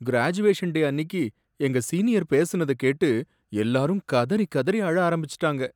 Graduation day அன்னிக்கு எங்க senior பேசினத கேட்டு எல்லாரும் கதறிக் கதறி அழ ஆரம்பிச்சுட்டாங்க.